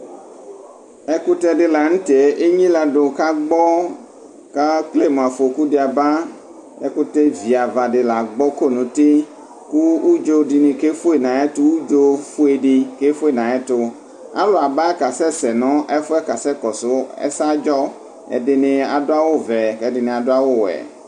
Ɛkʋtɛ di lanʋtɛ enyiladʋ kʋ agbɔ kʋ ekele mʋ afɔku di aba ɛkʋtɛ viava di lagbɔ kɔ nʋ uti kʋ udzo dini ke fʋe nʋ ayʋ ɛtʋ udzo fuedi kefue nʋ ayʋ ɛtʋ alʋ aba kasɛsɛ nʋ ɛfʋ yɛ kasɛ kɔsʋ ɛsɛ adzɔ ɛdini adʋ awʋvɛ kʋ ɛdini adʋ awʋwɛ